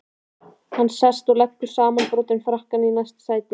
Hann sest og leggur samanbrotinn frakkann í næsta sæti.